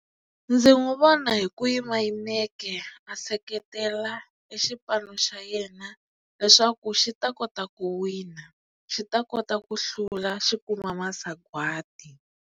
Ndzi n'wi vona hi ku yima yimeke a seketela e xipano xa yena leswaku xi ta kota ku wina xi ta kota ku hlula xi kuma masagwati.